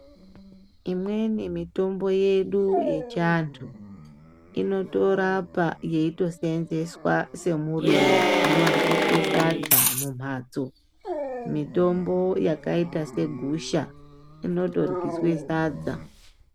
Imweni mitombo yedu yechi andu inotorapa yeito senzeswa se muriwo uno dyiswe sadza mu matso mitombo yakaita se gusha inoto dyiswe sadza.